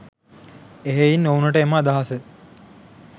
එහෙයින් ඔවුනට එම අදහස